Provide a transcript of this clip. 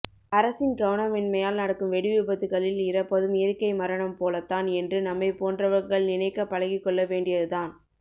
அரசின் கவனமின்மையால் நடக்கும் வெடி விபத்துகளில் இறப்பதும் இயற்க்கை மரணம் போலத்தான் என்று நம்மைபோன்றவர்கள் நினைக்க பழகிக்கொள்ள வேண்டியது தான்